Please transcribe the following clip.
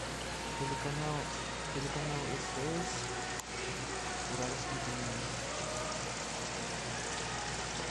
телеканал стс уральские пельмени